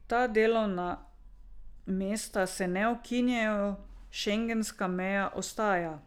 Ta delovna mesta se ne ukinjajo, šengenska meja ostaja.